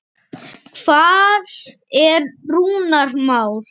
Hvar er Rúnar Már?